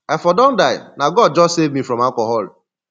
i for don die na god just save me from alcohol